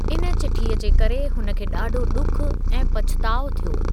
इन चिठीअ जे करे हुन खे ॾाढो ॾुख ऐं पछताउ थियो।